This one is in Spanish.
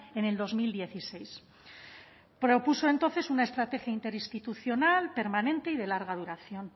en el dos mil dieciséis propuso entonces una estrategia interinstitucional permanente y de larga duración